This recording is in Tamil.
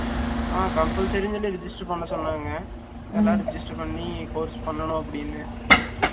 ஆ compulsory ன்னு சொல்லி register பண்ண சொன்னாங்க எல்லாரும் register பண்ணி course பண்ணனும் அப்படின்னு